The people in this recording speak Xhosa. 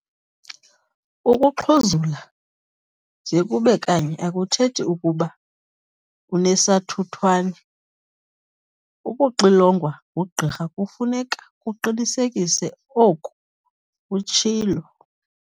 "Ukuxhuzula nje kube kanye akuthethi ukuba unesathuthwane. Ukuxilongwa ngugqirha kufuneka kuqinisekise oku," utshilo.